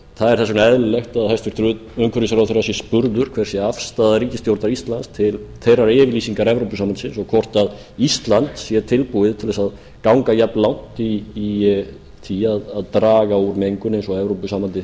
það er þess vegna eðlilegt að hæstvirtur umhverfisráðherra sé spurður hver sé afstaða ríkisstjórnar íslands til þeirrar yfirlýsingar evrópusambandsins og hvort ísland sé tilbúið til að ganga jafnlangt í því að draga úr mengun eins og evrópusambandið